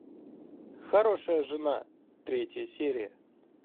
хорошая жена третья серия